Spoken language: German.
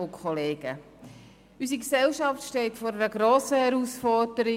Unsere Gesellschaft steht vor einer grossen Herausforderung.